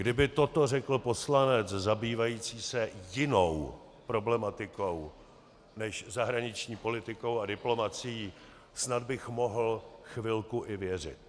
Kdyby toto řekl poslanec zabývající se jinou problematikou než zahraniční politikou a diplomacií, snad bych mohl chvilku i věřit.